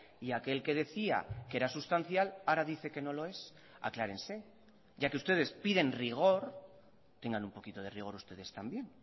y aquel que decía que era sustancial ahora dice que no lo es aclárense ya que ustedes piden rigor tengan un poquito de rigor ustedes también